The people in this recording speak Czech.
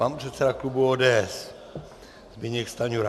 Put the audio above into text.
Pan předseda klubu ODS Zbyněk Stanjura.